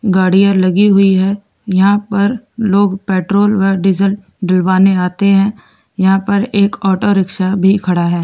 गाड़ियां लगी हुई हैं यहां पर लोग पेट्रोल डीजल डालवाने आते हैं यहां पर एक ऑटो रिक्शा भी खड़ा है।